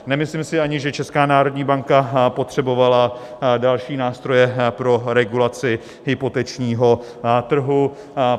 Nemyslím si ani, že Česká národní banka potřebovala další nástroje pro regulaci hypotečního trhu.